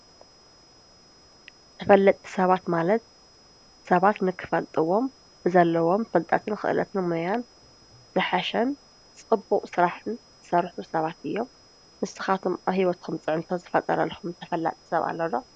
ተፈለጥቲ ሰባት ማለት ሰባት ንክፈልጥዎም ብዘለዎም ፈልጠትን ኽእለትን ሞያን ዝሓሽን ጽቡቕ ስራሕን ዝሰርሑ ሰባት እዮም ። ንስኻትኵም ኣብ ሕይወትኩም ፅዕንቶ ዝፈጠረልኩም ተፈላጢ ሰብ ኣሎ ዶ?